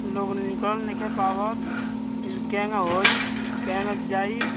लोग निकल नइखे पावत केंग होइ केंगा जाई।